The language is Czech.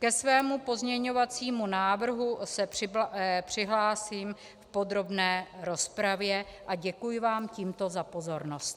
Ke svému pozměňovacímu návrhu se přihlásím v podrobné rozpravě a děkuji vám tímto za pozornost.